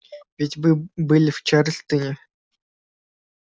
ведь вы были в чарльстоне